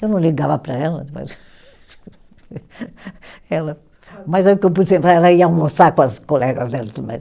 Eu não ligava para ela, ela, mas ela ia almoçar com as colegas dela e tudo mais.